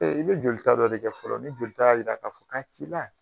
Ee i bɛ joli ta dɔ de kɛ fɔlɔ , ni joli ta y'a jira k'a fɔ k'a t'i la.